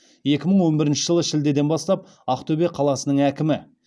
екі мың он бірінші жылы шілдеден бастап ақтөбе қаласының әкімі